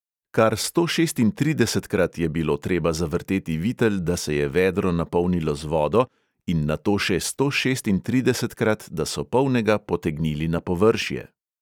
Kar stošestintridesetkrat je bilo treba zavrteti vitel, da se je vedro napolnilo z vodo in nato še stošestintridesetkrat, da so polnega potegnili na površje.